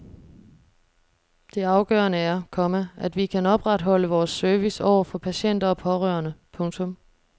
Det afgørende er, komma at vi kan opretholde vores service over for patienter og pårørende. punktum